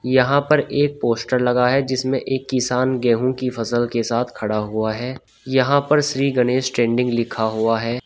यहां पर एक पोस्टर लगा है जिसमें एक किसान गेहूं की फसल के साथ खड़ा हुआ है यहां पर श्री गणेश ट्रेडिंग लिखा हुआ है।